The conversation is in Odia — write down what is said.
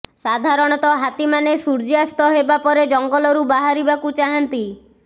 ସାଧାରଣତଃ ହାତୀମାନେ ସୂର୍ଯ୍ୟାସ୍ତ ହେବା ପରେ ଜଙ୍ଗଲରୁ ବାହାରିବାକୁ ଚାହାନ୍ତି